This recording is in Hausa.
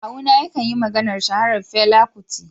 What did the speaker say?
Kawuna ya kan yi maganar shaharar Fela Kuti.